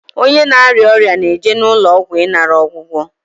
Onye na-arịa ọrịa na-eje n'ụlọ ọgwụ ịnara ọgwụgwọ.